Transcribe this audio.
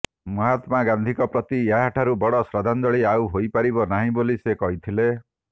ମହାତ୍ମା ଗାନ୍ଧୀଙ୍କ ପ୍ରତି ଏହାଠାରୁ ବଡ଼ ଶ୍ରଦ୍ଧାଞ୍ଜଳି ଆଉ ହୋଇପାରିବ ନାହିଁ ବୋଲି ସେ କହିଥିଲେ